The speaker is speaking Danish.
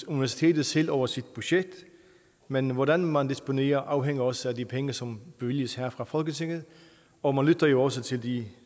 universitetet selv over sit budget men hvordan man disponerer afhænger også af de penge som bevilges her fra folketinget og man lytter jo også til de